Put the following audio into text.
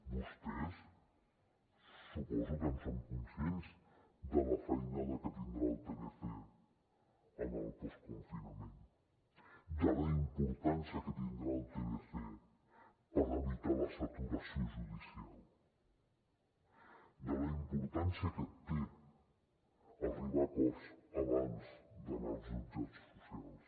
vostès suposo que en són conscients de la feinada que tindrà el tlc en el postconfinament de la importància que tindrà el tlc per evitar la saturació judicial de la importància que té arribar a acords abans d’anar als jutjats socials